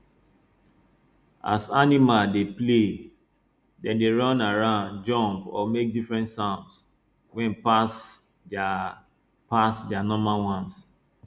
as animals dey play dem dey run around jump or make different sounds wey pass their pass their normal ones